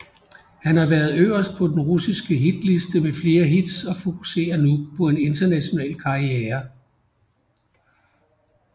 Han har været øverst på den russiske hitliste med flere hits og fokuserer nu på en international karriere